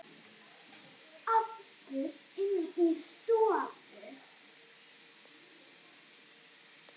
Aftur inn í stofu.